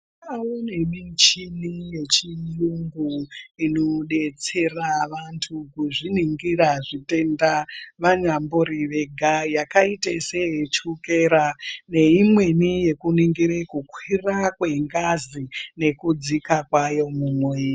Kwane michina yechiyungu inodetsera vantu kuzviningire zvitenda vanyambori vega yakaite seyechukera neimweni yekuningira kukwir kwengazi nekudzika kwayo munwiri.